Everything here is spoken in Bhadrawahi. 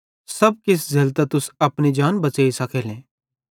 सब किछ झ़ेलतां तुस अपनी जान बच़ेइ साखेलो